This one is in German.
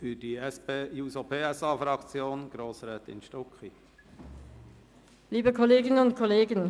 Für die SP-JUSO-PSA-Fraktion hat Grossrätin Stucki das Wort.